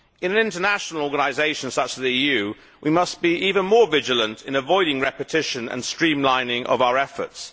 In an international organisation such as the EU, we must be even more vigilant in avoiding repetition and in streamlining our efforts.